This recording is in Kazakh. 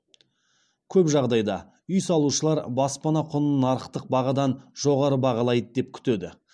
көп жағдайда үй салушылар баспана құнын нарықтық бағадан жоғары бағалайды деп күтеді